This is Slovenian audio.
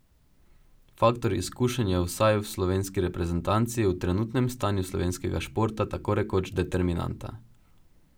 Faktor izkušenj je vsaj v slovenski reprezentanci v trenutnem stanju slovenskega športa tako rekoč determinanta.